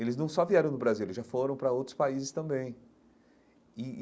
Eles não só vieram no Brasil, eles já foram para outros países também e e.